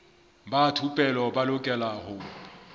ba thupelo ba lokela ho